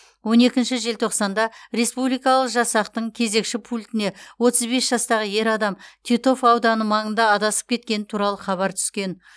он екінші желтоқсанда республикалық жасақтың кезекші пультіне отыз бес жастағы ер адам титов ауданы маңында адасып кеткені туралы хабар түскен